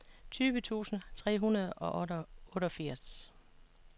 tyve tusind tre hundrede og otteogfirs